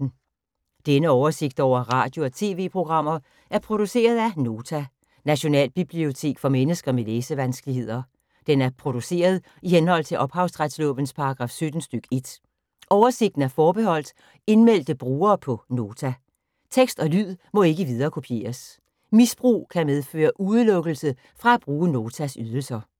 Denne oversigt over radio og TV-programmer er produceret af Nota, Nationalbibliotek for mennesker med læsevanskeligheder. Den er produceret i henhold til ophavsretslovens paragraf 17 stk. 1. Oversigten er forbeholdt indmeldte brugere på Nota. Tekst og lyd må ikke viderekopieres. Misbrug kan medføre udelukkelse fra at bruge Notas ydelser.